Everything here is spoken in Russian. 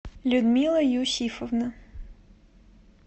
людмила юсифовна